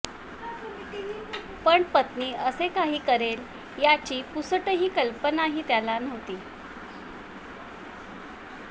पण पत्नी असे काही करेल याची पुसटशी कल्पनाही त्याला नव्हती